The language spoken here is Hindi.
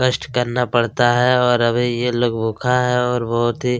कष्ट करना पड़ता है और अभी यह लोग भूखा है और बहुत ही--